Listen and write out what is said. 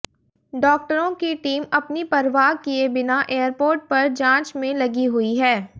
डॉक्टरों की टीम अपनी परवाह किए बिना एयरपोर्ट पर जांच में लगी हुई है